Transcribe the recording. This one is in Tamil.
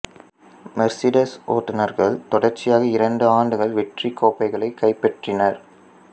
மெர்சிடஸ் ஓட்டுனர்கள் தொடர்ச்சியாக இரண்டு ஆண்டுகள் வெற்றிக் கோப்பைகளைக் கைப்பற்றினர்